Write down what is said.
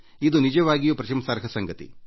ಇದು ನಿಜವಾಗಿಯೂ ಪ್ರಶಂಸನಾರ್ಹ ಸಂಗತಿ